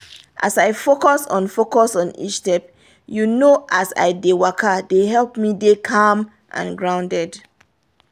as i focus on focus on each step you know as i dey waka dey help me dey calm and grounded